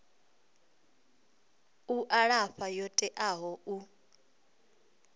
u alafha yo teaho u